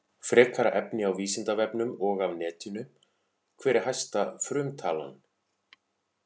Frekara efni á Vísindavefnum og af netinu: Hver er hæsta frumtalan?